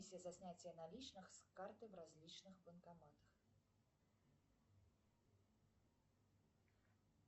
комиссия за снятие наличных с карты в различных банкоматах